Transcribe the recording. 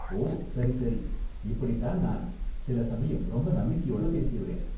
ஓ, சரி சரி! இப்படி தான் நான் சில சமயம் ரொம்ப நம்பிக்கையோட பேசிருவேன்.